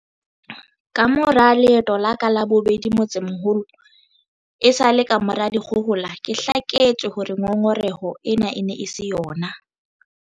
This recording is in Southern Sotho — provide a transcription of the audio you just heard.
Kamora leeto la ka la bobedi motsemoholo esale kamora dikgohola, ke hlaketswe hore ngongoreho ena e ne e se yona.